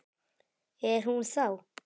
Er hún þá.